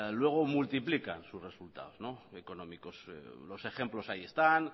luego multiplican sus resultados económicos los ejemplos ahí están